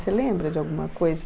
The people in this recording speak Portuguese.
Você lembra de alguma coisa?